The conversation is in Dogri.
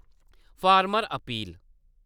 farmer appeal